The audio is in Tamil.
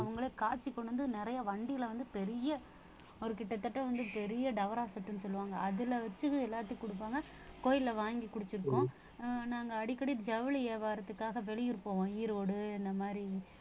அவுங்களே காய்ச்சி கொண்டு வந்து நிறைய வண்டியில வந்து பெரிய ஒரு கிட்டத்தட்ட வந்து பெரிய டவரா set னு சொல்லுவாங்க அதுல வச்சு எல்லாத்துக்கும் குடுப்பாங்க கோயில்ல வாங்கி குடிச்சிருக்கோம் நாங்க அடிக்கடி ஜவுளி வியாபாரத்துக்காக வெளியூர் போவோம் ஈரோடு இந்த மாதிரி